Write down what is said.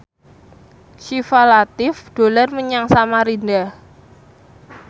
Syifa Latief dolan menyang Samarinda